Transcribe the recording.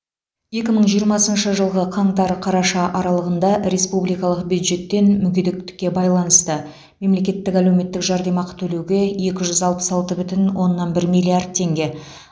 екі мың жиырмасыншы жылғы қаңтар қараша аралығында республикалық бюджеттен мүгедектікке байланысты мемлекеттік әлеуметтік жәрдемақы төлеуге екі жүз алпыс алты бүтін оннан бір миллиард теңге